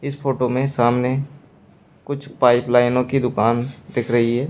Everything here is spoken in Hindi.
इस फोटो में सामने कुछ पाइप लाइनों की दुकान दिख रही है।